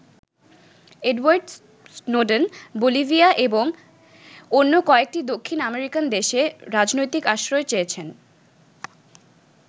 Edward Snowden Bolivia এবং অন্য কয়েকটি দক্ষিণ আমেরিকান দেশে রাজনৈতিক আশ্রয় চেয়েছেন।